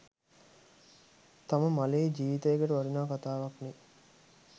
තම මලේ ජිවිතයකට වටින කතාවක්නේ.